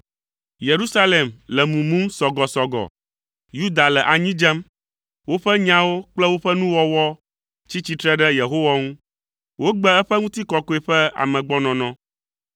Yerusalem le mumum sɔgɔsɔgɔ, Yuda le anyi dzem. Woƒe nyawo kple woƒe nuwɔwɔ tsi tsitre ɖe Yehowa ŋu. Wogbe eƒe ŋutikɔkɔe ƒe amegbɔnɔnɔ.